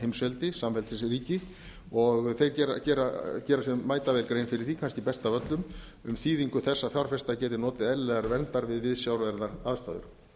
heimsveldi samveldisríki og þeir gera sér mætavel grein fyrir því kannski best af öllum um þýðingu þess að fjárfestar geti notið eðlilegrar verndar við viðsjárverðar aðstæður